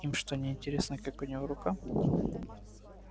им что неинтересно как у него рука